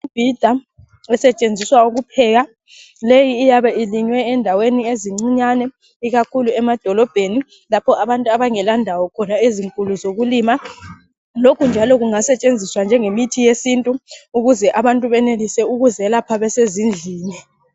Imibhida esetshenziswa ukupheka leyi iyabe ilinywe endaweni ezincinyane ikakhulu emadolobheni lapho abantu abangela ndawo khona ezinkulu zokulima lokhu njalo kungasetshenziswa njengemithi yesintu ukuze abantu benelise ukuzelapha besezindlini.